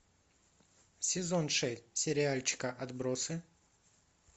сезон шесть сериальчика отбросы